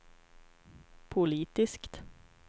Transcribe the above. politiskt